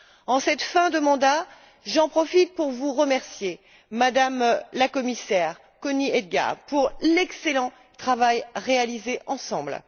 En cette fin de mandat, j'en profite pour vous remercier, Madame la Commissaire Connie Hedegaard, pour l'excellent travail réalisé ensemble.